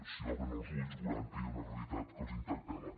si obren els ulls veuran que hi ha una realitat que els interpel·la